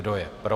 Kdo je pro?